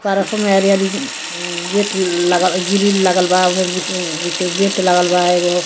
हरियारी उ गेट लगल ग्रील लगल बा ओके बीच में बीच में गेट लगल बा एगो --